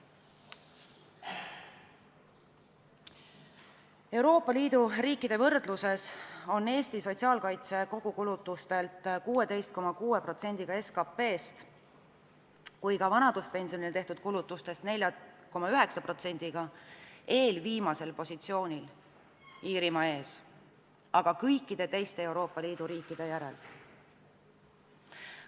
Euroopa Liidu riikide võrdluses on Eesti sotsiaalkaitse kogukulutuste poolest ja ka vanaduspensionidele tehtud kulutuste poolest eelviimasel positsioonil, Iirimaa ees, aga kõikide teiste Euroopa Liidu riikide järel.